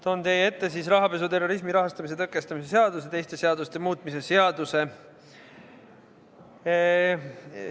Toon teie ette rahapesu ja terrorismi rahastamise tõkestamise seaduse ja teiste seaduste muutmise seaduse eelnõu.